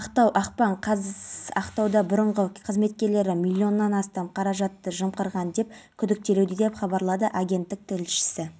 әлеуметтік желі қолданушылары ер адамның әрекетіне түрлі пікірлер білдіріп жатыр алайда көпшілігі ер адамның мұндай әрекетін